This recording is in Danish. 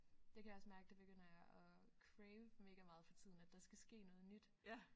Det kan jeg også mærke det begynder jeg at crave mega meget for tiden at der skal ske noget nyt